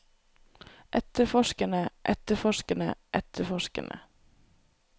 etterforskerne etterforskerne etterforskerne